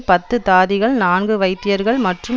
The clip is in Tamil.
பத்து தாதிகள் நான்கு வைத்தியர்கள் மற்றும்